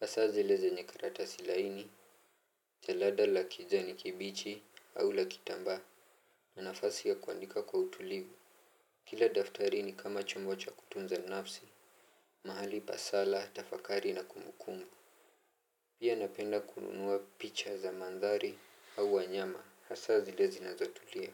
Hasa zile zenye karatasi laini, jalada la kijani kibichi au la kitambaa. Na nafasi ya kuandika kwa utulivu kila daftari ni kama chombo cha kutunza nafsi, mahali pa sala, tafakari na kumbukumbu. Pia napenda kununua picha za mandhari au wanyama hasa zile zinazotulia.